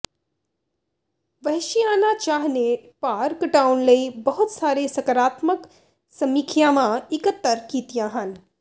ਵਹਿਸ਼ੀਆਨਾ ਚਾਹ ਨੇ ਭਾਰ ਘਟਾਉਣ ਲਈ ਬਹੁਤ ਸਾਰੇ ਸਕਾਰਾਤਮਕ ਸਮੀਖਿਆਵਾਂ ਇਕੱਤਰ ਕੀਤੀਆਂ ਹਨ